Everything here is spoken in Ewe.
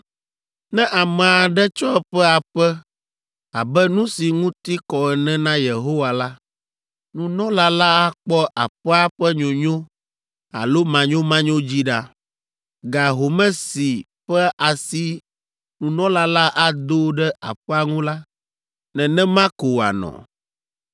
“ ‘Ne ame aɖe tsɔ eƒe aƒe abe nu si ŋuti kɔ ene na Yehowa la, nunɔla la akpɔ aƒea ƒe nyonyo alo manyomanyo dzi ɖa. Ga home si ƒe asi nunɔla la ado ɖe aƒea ŋu la, nenema ko wòanɔ.